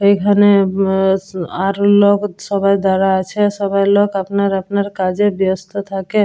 এইখানে উম আর লোক সবাই দাঁড়া আছে সবাই লোক আপনার আপনার কাজে ব্যস্ত থাকে।